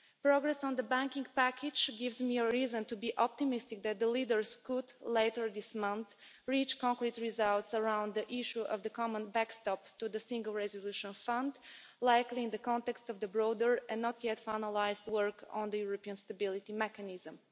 Progress on the banking package gives me reason to be optimistic that the leaders can, later this month, reach concrete results around the issue of the common backstop to the Single Resolution Fund, likely in the context of the broader and not yet finalised work on the European Stability Mechanism.